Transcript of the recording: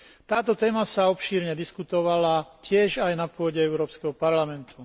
Táto téma sa obšírne diskutovala tiež aj na pôde Európskeho parlamentu.